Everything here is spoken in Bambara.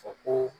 Fɔ ko